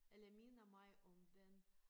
Eller minder mig om den